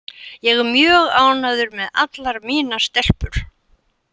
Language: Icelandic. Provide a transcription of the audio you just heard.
Ég er mjög ánægður með allar mínar stelpur.